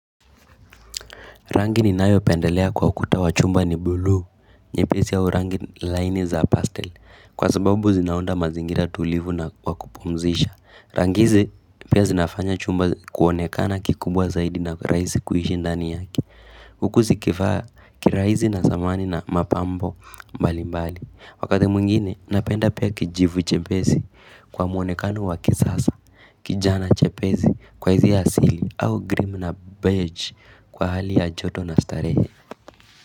Rangi ni nayo pendelea kwa kutowa chumba ni bulu, nyepesi ya urangi line za pastel, kwa sababu zinunda mazingira tulivu na kwa kupumzisha. Rangi hizi pia zinafanya chumba kuonekana kikubwa zaidi na raisi kuhishi ndani yaki. Huku zikifaa kiraisi na samani na mapambo mbali mbali. Wakati mwingine napenda pia kijivu chepesi kwa mwonekano wa kisasa kijani chepezi kwa hizi asili au grim na beij kwa hali ya joto na starehe.